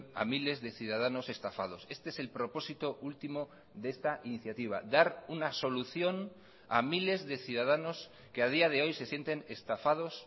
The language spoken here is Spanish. a miles de ciudadanos estafados este es el propósito último de esta iniciativa dar una solución a miles de ciudadanos que a día de hoy se sienten estafados